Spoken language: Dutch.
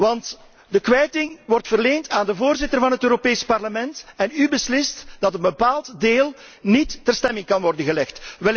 Want de kwijting wordt verleend aan de Voorzitter van het Europees Parlement en u beslist dat een bepaald deel niet in stemming kan worden gebracht.